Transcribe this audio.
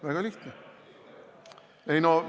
Väga lihtne!